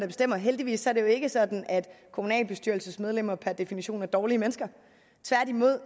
bestemmer heldigvis er det ikke sådan at kommunalbestyrelsesmedlemmer per definition er dårlige mennesker tværtimod